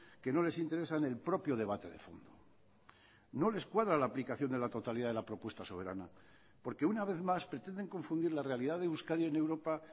que no les interesan el propio debate de fondo no les cuadra la aplicación de la totalidad de la propuesta soberana porque una vez más pretenden confundir la realidad de euskadi en europa